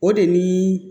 O de ni